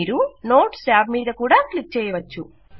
మీరు notes tab మీద కూడా క్లిక్ చేయవచ్చు